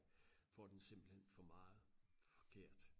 får den simpelthen for meget forkert